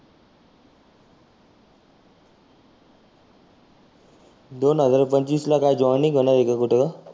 दोन हजार पंचवीस ला काय जॉइनींग होणार आहे का कुठं?